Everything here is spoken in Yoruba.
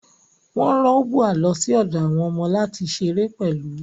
Wọ́n rán Ubwa lọ sí ọ̀dọ̀ àwọn ọmọ láti ṣeré pẹ̀lú